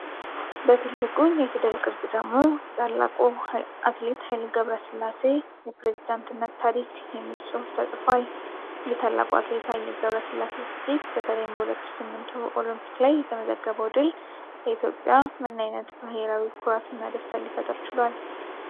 በትልቁ የፊደል ቅርጽ ደግሞ “የታላቁ አትሌት ሃ/ገብረስላሴ የፕሬዝዳንትነት ታሪክ” የሚል ጽሑፍ ተጽፏል። የታላቁ አትሌት ሃይሌ ገብረስላሴ ስኬት፣ በተለይም በ2008ቱ ኦሎምፒክ ላይ የተመዘገበው ድል፣ ለኢትዮጵያ ምን አይነት ብሄራዊ ኩራትና ደስታን ሊፈጥር ችሏል?